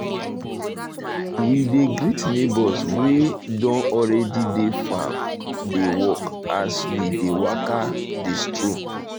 we dey greet neighbors wey don already dey farm dey um work as um we dey waka um dey stroll